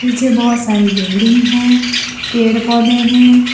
नीचे बहोत सारी बिल्डिंग है पेड़ पौधे है।